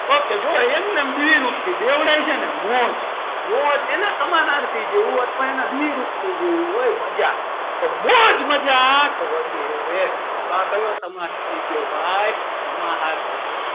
ok જોવો એમનેમ દ્વિરૂપતિ બેવડાય છે ને મોજ મજા એના સમાનાર્થી જેવું અથવા એના દ્વિરુપતિ જેવું હોય મજા તો મોજ મજા વગેરે તો આ કયો સમાસ થઈ ગયો ભાઈ સમાહાર દ્વંદ,